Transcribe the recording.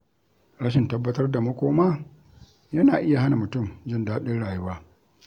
Rashin tabbatar da makoma yana iya hana mutum jin daɗin rayuwa.